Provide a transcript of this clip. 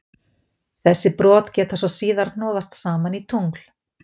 Þessi brot geta svo síðar hnoðast saman í tungl.